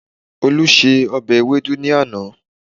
Olú se ọbẹ̀ ewédú ní àná